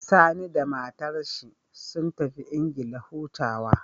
Sani da matar shi sun tafi England hutawa